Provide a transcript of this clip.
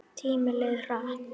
Tíminn leið hratt.